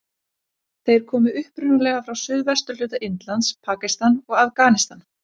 Þeir koma upprunalega frá suðvesturhluta Indlands, Pakistan og Afganistan.